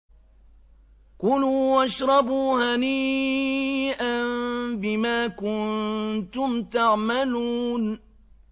كُلُوا وَاشْرَبُوا هَنِيئًا بِمَا كُنتُمْ تَعْمَلُونَ